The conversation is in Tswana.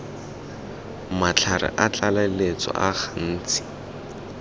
matlhare a tlaleletso a gantsi